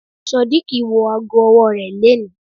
Sodiq wọ ago ọwọ́ rẹ̀ leni.